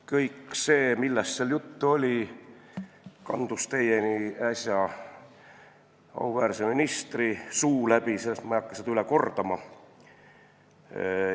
Kõik see, millest seal juttu oli, kandus teieni äsja auväärse ministri suu läbi ja ma ei hakka seda üle kordama.